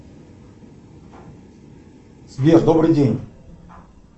сбер добрый день